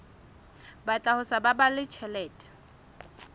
batla ho sa baballe tjhelete